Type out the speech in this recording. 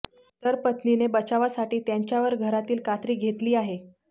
तर पत्नीने बचावासाठी त्यांच्यावर घरातील कात्री घेतली आहे